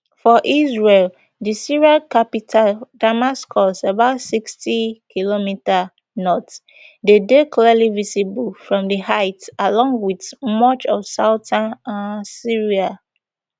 for israel di syrian capital damascus about sixty km north dey dey clearly visible from di heights along with much of southern um syria